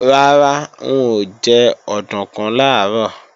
Rárá, n ò jẹ òdùnkún làárọ̀